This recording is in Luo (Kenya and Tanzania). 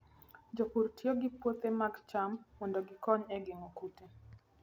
Jopur tiyo gi puothe mag cham mondo gikony e geng'o kute.